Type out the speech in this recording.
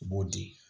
U b'o di